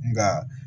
Nka